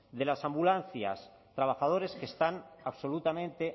de las ambulancias trabajadores que están absolutamente